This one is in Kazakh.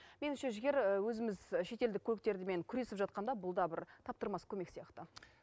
меніңше жігер өзіміз шетелдік көліктермен күресіп жатқанда бұл да бір таптырмас көмек сияқты